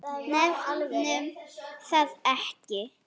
Nefnum það ekki.